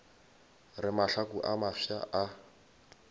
re mahlaku a mafsa a